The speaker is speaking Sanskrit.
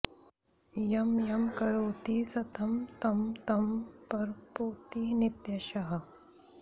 यं यं करोति सततं तं तं प्राप्नोति नित्यशः